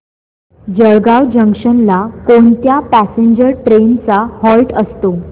Jalgaon junction ला कोणत्या passenger trains चा हॉल्ट असतो